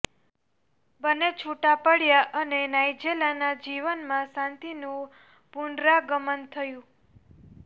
બન્ને છુટ્ટાં પડ્યાં અને નાઇજેલાના જીવનમાં શાંતિનું પુનરાગમન થયું